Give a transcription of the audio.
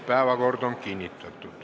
Päevakord on kinnitatud.